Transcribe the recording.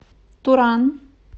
туран